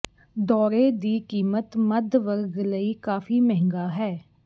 ਦੌਰੇ ਦੀ ਕੀਮਤ ਮੱਧ ਵਰਗ ਲਈ ਕਾਫ਼ੀ ਮਹਿੰਗਾ ਹੈ